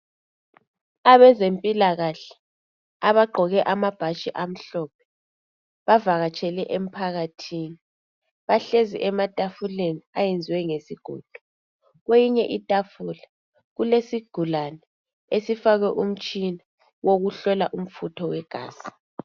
Abezempilakahle abagqoke amabhatshi amhlophe bavakatshele emphakathini. Bahlezi etafuleni eyenziwe ngesigodo. Kweyinye itafula kulesigulane esifakwe umtshina wokuhlola umfutho wegazi.